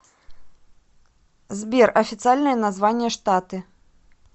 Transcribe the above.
сбер официальное название штаты